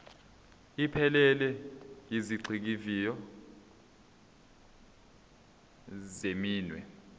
ephelele yezigxivizo zeminwe